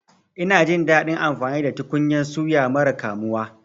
Ina jin daɗin amfani da tukunyan suya mara kamuwa.